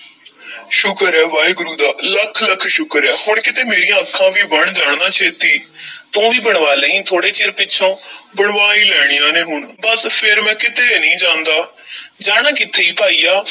ਸ਼ੁਕਰ ਏ ਵਾਹਿਗੁਰੂ ਦਾ, ਲੱਖ-ਲੱਖ ਸ਼ੁਕਰ ਏ ਹੁਣ ਕਿਤੇ ਮੇਰੀਆਂ ਅੱਖਾਂ ਵੀ ਬਣ ਜਾਣ ਨਾ ਛੇਤੀ ਤੂੰ ਵੀ ਬਣਵਾ ਲਈਂ, ਥੋੜ੍ਹੇ ਚਿਰ ਪਿੱਛੋਂ ਬਣਵਾ ਈ ਲੈਣੀਆਂ ਨੇ ਹੁਣ, ਬੱਸ ਫੇਰ ਮੈਂ ਕਿਤੇ ਨਹੀਂ ਜਾਂਦਾ ਜਾਣਾ ਕਿੱਥੇ ਭਾਈਆ,